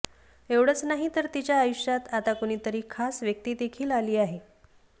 एवढंच नाही तर तिच्या आयुष्यात आता कुणीतरी खास व्यक्तीदेखील आली आहे